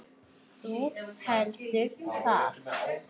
Þú heldur það?